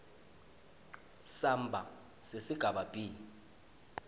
samba sesigaba b